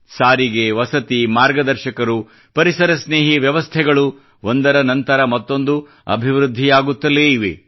ಸಾರಿಗೆ ವಸತಿ ಮಾರ್ಗದರ್ಶಕರು ಪರಿಸರ ಸ್ನೇಹಿ ವ್ಯವಸ್ಥೆಗಳು ಒಂದರ ನಂತರ ಮತ್ತೊಂದು ಅಭಿವೃದ್ಧಿಯಾಗುತ್ತಲೇ ಇವೆ